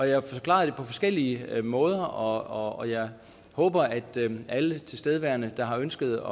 jeg har forklaret det på forskellige måder og jeg håber at alle tilstedeværende der har ønsket at